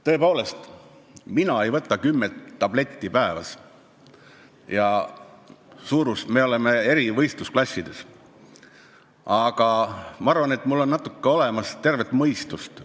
Tõepoolest, mina ei võta kümmet tabletti päevas ja me oleme eri võistlusklassides, aga ma arvan, et mul on natuke olemas tervet mõistust.